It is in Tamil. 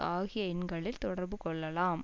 ஆகிய எண்களில் தொடர்பு கொள்ளலாம்